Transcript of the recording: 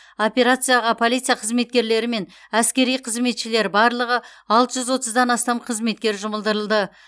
операцияға полиция қызметкерлері мен әскери қызметшілер барлығы алты жүз отыздан астам қызметкер жұмылдырылды